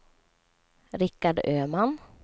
Rickard Öman